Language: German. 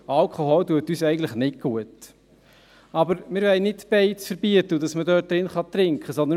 Aber wir wollen nicht beides verbieten, dass man drinnen trinken darf.